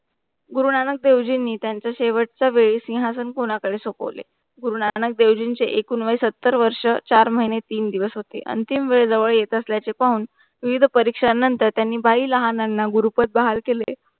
गुरुनानक देवजींनी त्यांचा शेवट च्या वेरी सिंघासण कोणा करे सोपोले गुरुनानक देवजींचे अकुंवाय सत्तर वर्ष चार महिने तीन दिवस होते, अंतिम वेळ जवर येतास ल्याचे पाहून वीर परीक्षा नंतर त्यांनी बाही लंनावर गुरुपर बाहेर केले.